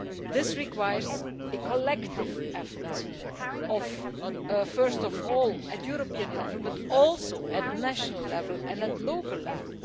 This requires a collective effort, first of all at European level, but also at national level and at local level.